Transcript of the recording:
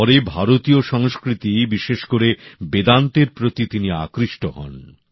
পরে ভারতীয় সংস্কৃতি বিশেষ করে বেদান্তের প্রতি তিনি আকৃষ্ট হন